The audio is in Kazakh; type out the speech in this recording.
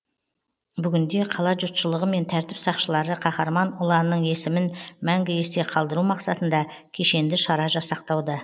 бүгінде қала жұртшылығы мен тәртіп сақшылары қаһарман ұланның есімін мәңгі есте қалдыру мақсатында кешенді шара жасақтауда